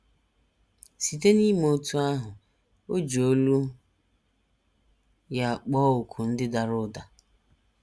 Site n’ime otú ahụ, o ji olu ya kpọọ òkù ndị dara ụda.